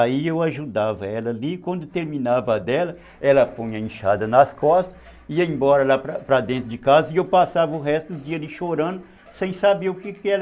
Aí eu ajudava ela ali, quando terminava a dela, ela põe a inchada nas costas, ia embora lá para dentro de casa, e eu passava o resto do dia ali chorando, sem saber o que era